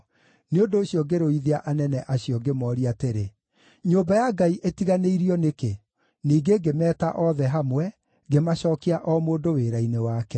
Nĩ ũndũ ũcio ngĩrũithia anene acio, ngĩmooria atĩrĩ: “Nyũmba ya Ngai ĩtiganĩirio nĩkĩ?” Ningĩ ngĩmeeta othe hamwe, ngĩmacookia o mũndũ wĩra-inĩ wake.